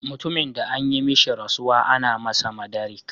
Mutumin de an yi mishi rasuwa, ana masa "madarik".